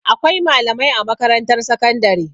Akwai malamai a makarantar sakandare.